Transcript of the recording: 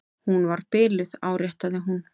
Hún var biluð, áréttaði hún.